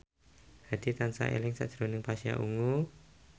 Hadi tansah eling sakjroning Pasha Ungu